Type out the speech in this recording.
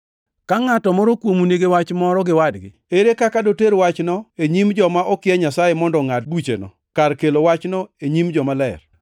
Ka ngʼato moro kuomu nigi wach moro gi wadgi, ere kaka doter wachno e nyim joma okia Nyasaye mondo ongʼad bucheno, kar kelo wachno e nyim jomaler?